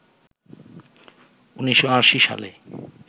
১৯৮০ সালে